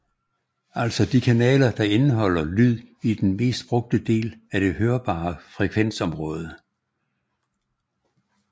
Altså de kanaler der indeholder lyd i den mest brugte del af det hørbare frekvensområde